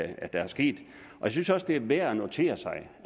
er sket jeg synes også det er værd at notere sig